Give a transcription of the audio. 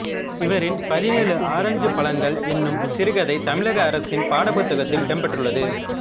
இவரின் பதினேழு ஆரஞ்சுப்பழங்கள் எனும் சிறுகதை தமிழக அரசின் பாடப்புத்தக்கத்தில் இடம்பெற்றுள்ளது